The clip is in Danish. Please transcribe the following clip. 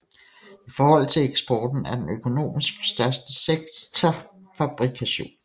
I forhold til eksporten er den økonomisk største sektor fabrikation